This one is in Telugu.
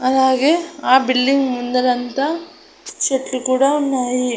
అలాగే ఆ బిల్డింగ్ ముందరంతా చెట్లు కూడా ఉన్నాయి.